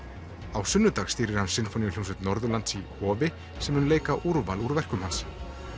á sunnudag stýrir hann Sinfóníuhljómsveit Norðurlands í Hofi sem mun leika úrval úr verkum hans